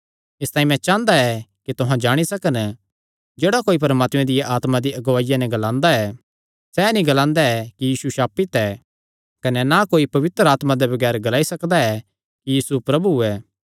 इसतांई मैं चांह़दा ऐ कि तुहां जाणी सकन जेह्ड़ा कोई परमात्मे दिया आत्मा दी अगुआईया नैं ग्लांदा ऐ सैह़ नीं ग्लांदा कि यीशु श्रापित ऐ कने ना कोई पवित्र आत्मा दे बगैर ग्लाई सकदा ऐ कि यीशु प्रभु ऐ